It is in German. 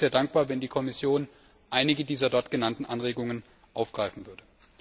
Ich wäre sehr dankbar, wenn die Kommission einige der dort genannten Anregungen aufgreifen würde.